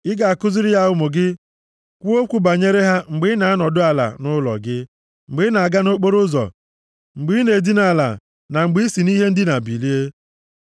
Ị ga-akụziri ya ụmụ gị. Kwuo okwu banyere ha mgbe ị na-anọdụ ala nʼụlọ gị, mgbe ị na-aga nʼokporoụzọ, mgbe ị na-edina ala na mgbe i si nʼihe ndina bilie.